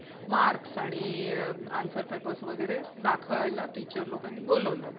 marks आणि answer paper वगैरे दाखवायला teacher लोकांनी बोलावलं.